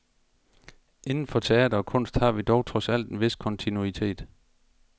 Inden for teater og kunst har vi dog trods alt en vis kontinuitet.